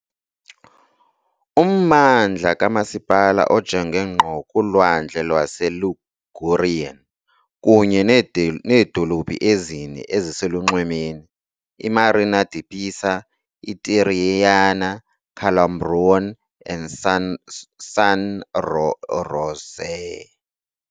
Ummandla kamasipala ojonge ngqo kuLwandle lwaseLigurian kunye needolophu ezine eziselunxwemeni iMarina di Pisa, iTirrenia, Calambrone and San Rossore.